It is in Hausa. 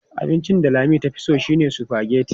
Abincin da Lami tafi so shine sufageti.